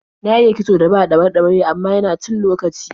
Na iya kitson da ba ɗaure-ɗaure, amma yana cin lokaci.